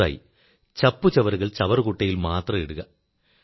ഒന്നാമതായി ചപ്പുചവറുകൾ ചവറുകുട്ടയിൽ മാത്രം ഇടുക